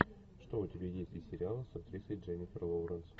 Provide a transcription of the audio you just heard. что у тебя есть из сериалов с актрисой дженнифер лоуренс